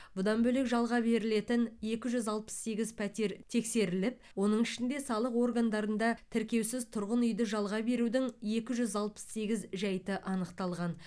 бұдан бөлек жалға берілетін екі жүз алпыс сегіз пәтер тексеріліп оның ішінде салық органдарында тіркеусіз тұрғын үйді жалға берудің екі жүз алпыс сегіз жайты анықталған